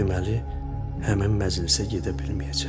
Deməli, həmin məclisə gedə bilməyəcəm.